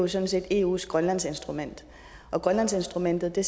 sådan set eus grønlandsinstrument og grønlandsinstrumentet er